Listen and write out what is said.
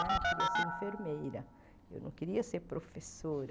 Né eu queria ser enfermeira, eu não queria ser professora.